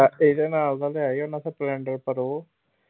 ਅਹ ਇਹਦੇ ਨਾਲ ਦਾ ਲਿਆ ਈ ਉਹਨਾਂ splendor ਪਰ ਓਹ